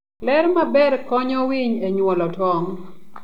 Ler maber konyo winy e nyuolo tong'.